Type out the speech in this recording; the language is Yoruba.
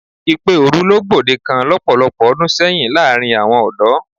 Ìpè òru ló gbòdekan lọ́pọ̀lọpọ̀ ọdún sẹ́yìn láàrin àwọn ọ̀dọ́.